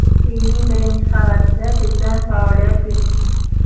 Uyning birinchi qavatida do‘kon faoliyat yuritgan.